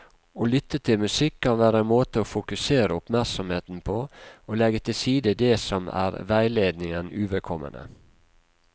Å lytte til musikk kan være en måte å fokusere oppmerksomheten på og legge til side det som er veiledningen uvedkommende.